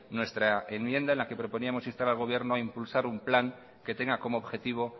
nuestra enmienda en la que proponíamos instar al gobierno a impulsar un plan que tenga como objetivo